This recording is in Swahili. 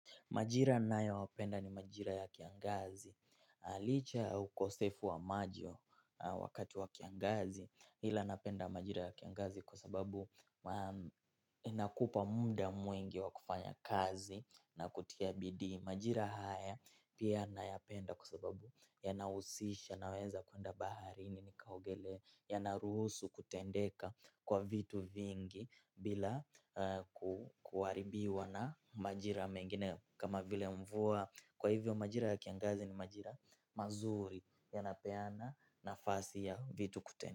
Majira ninayopenda ni majira ya kiangazi. Na licha ya ukosefu wa maji wakati wa kiangazi. Ila napenda majira ya kiangazi kwa sababu inakupa muda mwingi wa kufanya kazi na kutia bidii. Majira haya pia nayapenda kwa sababu yanahusisha naweza kuenda baharini nikaogelee. Yanaruhusu kutendeka kwa vitu vingi bila kuharibiwa na majira mengine kama vile mvua kwa hivyo majira ya kiangazi ni majira mazuri yanapeana nafasi ya vitu kutendeka.